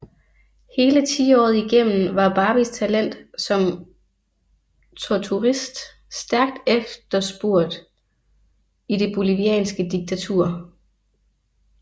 Hele tiåret igennem var Barbies talent som torturist stærkt efterspurgt i det bolivianske diktatur